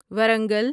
Warangal